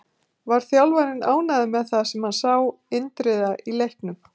Var þjálfarinn ánægður með það sem hann sá Indriða í leiknum?